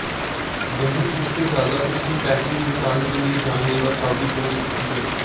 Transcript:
वहीं उससे ज्यादा उसकी पैकिंग इन्सान के लिए जानलेवा साबित हो सकती है